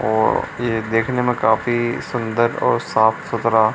और ये देखने में काफी सुन्दर और साफ-सुथरा --